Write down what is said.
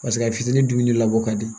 Paseke a fitinin dumuni labɔ ka di